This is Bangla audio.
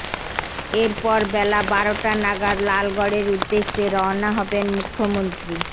এরপর বেলা বারোটা নাগাদ লালগড়ের উদ্দেশ্যে রওনা হবেন মুখ্যমন্ত্রী